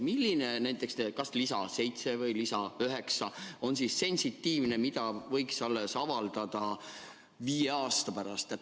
Milline nendest, kas näiteks lisa 7 või lisa 9, on sensitiivne, et seda võiks avaldada alles viie aasta pärast?